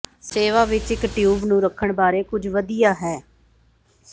ਸੇਵਾ ਵਿਚ ਇਕ ਟਿਊਬ ਨੂੰ ਰੱਖਣ ਬਾਰੇ ਕੁਝ ਵਧੀਆ ਹੈ